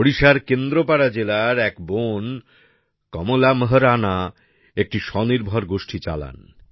ওড়িশার কেন্দ্রপাড়া জেলার এক বোন কমলা মোহরানা একটি স্বনির্ভর গোষ্ঠী চালান